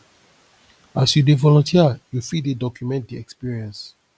as you dey volunteer you fit dey document di experience